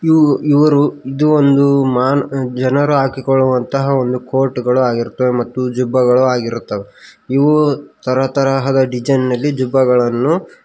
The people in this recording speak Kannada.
ಇವರು ಇದು ಒಂದು ಮಾ ಜನರು ಹಾಕಿಕೊಳ್ಳುವಂತಹ ಒಂದು ಕೋಟ್ಗಳು ಆಗಿರುತ್ತವೆ ಮತ್ತು ಜಬ್ಬಗಳು ಆಗಿರುತ್ತವೆ ಇವು ತರತರದ ಡಿಸೈನಲ್ಲಿ ಜುಬ್ಬಗಳನ್ನು--